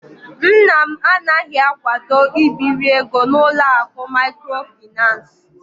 Nna m anaghị akwado ibiri ego n'ụlọ akụ maịkrofaịnans.